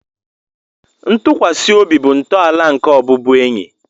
Ntụkwasị obi bụ ntọala nke ọbụbụenyi